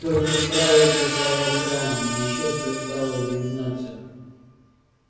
только справа где стоял храм ещё сверкала иллюминация